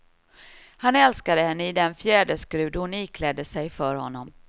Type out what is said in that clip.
Han älskade henne i den fjäderskrud hon iklädde sig för honom.